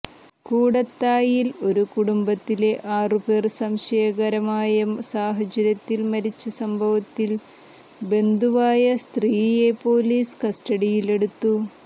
കൂടത്തായിൽ ഒരു കുടംബത്തിലെ ആറുപേർ സംശയകാരമായ സാഹചര്യത്തിൽ മരിച്ച സംഭവത്തിൽ ബന്ധുവായ സ്ത്രീയെ പൊലീസ് കസ്റ്റഡിയിലെടുത്തു